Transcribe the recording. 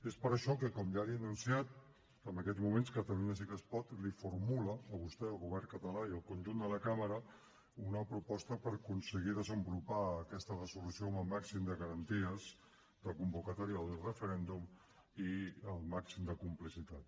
és per això que com ja li he anunciat en aquests moments catalunya sí que es pot els formula a vostè al govern català i al conjunt de la cambra una proposta per aconseguir desenvolupar aquesta resolució amb el màxim de garanties de convocatòria del referèndum i el màxim de complicitat